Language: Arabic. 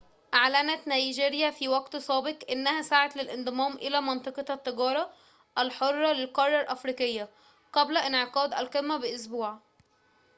أعلنت نيجيريا في وقت سابق أنها سعت للانضمام إلى منطقة التجارة الحرة للقارة الإفريقية قبل انعقاد القمة بأسبوع